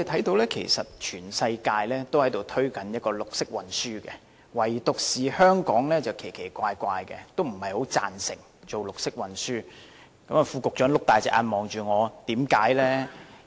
事實上，全世界也在推動綠色運輸，唯獨香港很奇怪，不太贊成綠色運輸——副局長睜大眼睛看着我——為甚麼？